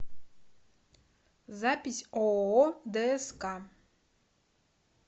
запись ооо дск